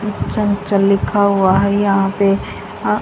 चंचल लिखा हुआ है यहां पे आ--